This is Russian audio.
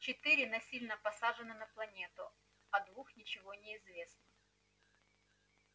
четыре насильно посажены на планету о двух ничего не известно